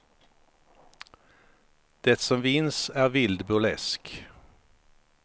Det som vinns är vild burlesk.